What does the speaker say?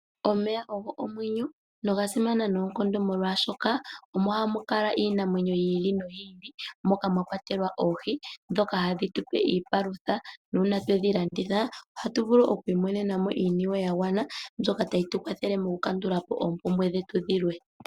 Omeya ogo omwenyo noga simana noonkondo molwashoka omo hamu kala iinamwenyo yi ili noyi ili. Moka mwa kwatelwa oohi dhoka hadhi tupe iipalutha, na uuna todhi landitha oha tu vulu oku imonena mo iiniwe ya gwana mbyoka tayi tu kwathele moku kandulapo oompumbwe dhetu dhilwe.